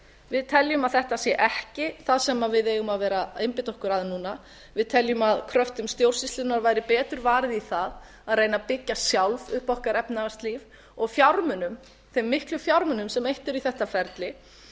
við teljum að þetta sé ekki það sem við eigum að vera að einbeita okkur að núna við teljum að kröftum stjórnsýslunnar væri betur varið í það að reyna að byggja sjálf upp okkar efnahagslíf og fjármunum þeim miklu fjármunum sem eytt er í þetta ferli